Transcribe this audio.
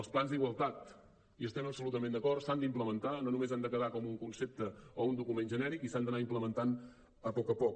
els plans d’igualtat hi estem absolutament d’acord s’han d’implementar no només han de quedar com un concepte o un document genèric i s’han d’anar implementant a poc a poc